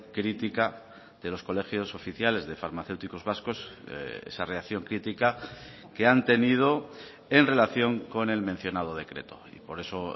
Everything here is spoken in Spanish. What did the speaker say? crítica de los colegios oficiales de farmacéuticos vascos esa reacción crítica que han tenido en relación con el mencionado decreto y por eso